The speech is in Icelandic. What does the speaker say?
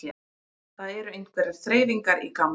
Það eru einhverjar þreifingar í gangi